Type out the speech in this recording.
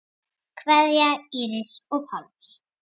Kveðja, Íris og Pálmi.